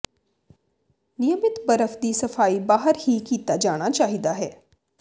ਨਿਯਮਿਤ ਬਰਫ ਦੀ ਸਫਾਈ ਬਾਹਰ ਹੀ ਕੀਤਾ ਜਾਣਾ ਚਾਹੀਦਾ ਹੈ